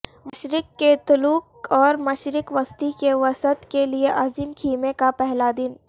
مشرق کیتھولک اور مشرق وسطی کے وسط کے لئے عظیم خیمے کا پہلا دن